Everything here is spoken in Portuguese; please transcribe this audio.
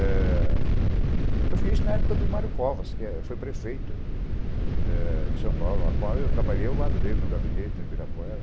Eu fiz isso na época do Mário Covas, que foi prefeito em São Paulo, a qual eu trabalhei ao lado dele, no gabinete, em Ibirapuera.